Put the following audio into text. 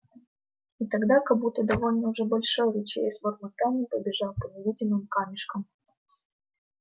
и тогда как будто довольно уже большой ручей с бормотаньем побежал по невидимым камешкам